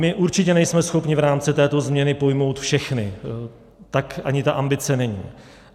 My určitě nejsme schopni v rámci této změny pojmout všechny, tak ani ta ambice není.